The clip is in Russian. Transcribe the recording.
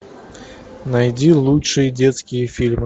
найди лучшие детские фильмы